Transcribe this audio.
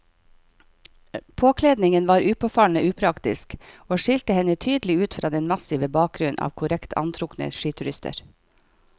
Påkledningen var påfallende upraktisk og skilte henne tydelig ut fra den massive bakgrunnen av korrekt antrukne skiturister.